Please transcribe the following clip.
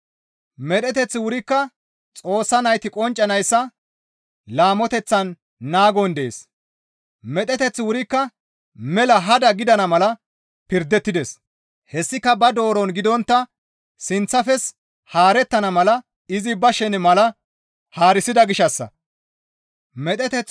Medheteththi wurikka mela hada gidana mala pirdettides; hessika ba dooron gidontta sinththafes haarettana mala izi ba shene mala haarisida gishshassa.